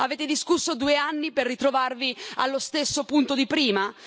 Avete discusso due anni per ritrovarvi allo stesso punto di prima?